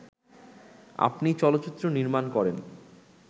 আপনি চলচ্চিত্র নির্মাণ করেন